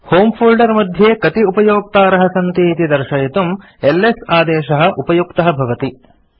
होमे फोल्डर मध्ये कति उपयोक्तारः सन्ति इति दर्शयितुम् एलएस आदेशः उपयुक्तः भवति